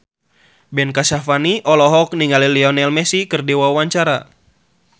Ben Kasyafani olohok ningali Lionel Messi keur diwawancara